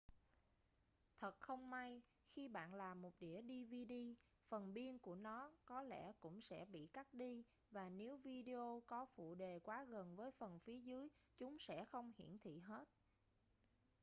thật không may khi bạn làm một đĩa dvd phần biên của nó có lẽ cũng sẽ bị cắt đi và nếu video có phụ đề quá gần với phần phía dưới chúng sẽ không hiển thị hết